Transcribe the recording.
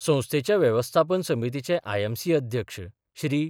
संस्थेच्या वेवस्थापन समितीचे आयएमसी अध्यक्ष श्री.